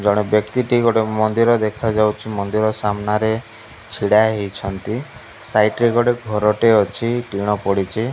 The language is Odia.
ଜଣେ ବ୍ୟକ୍ତି ଟିଏ ଗୋଟେ ମନ୍ଦିର ଦେଖାଯାଉଛି ମନ୍ଦିର ସାମ୍ନା ରେ ଛିଡ଼ା ହେଇଛନ୍ତି ସାଇଡ ରେ ଗୋଟେ ଘର ଟେ ଅଛି ଟିଣ ପଡ଼ିଚି।